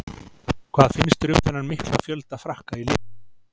Hvað finnst þér um þennan mikla fjölda Frakka í liðinu?